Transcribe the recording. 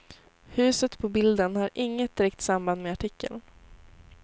Huset på bilden har inget direkt samband med artikeln.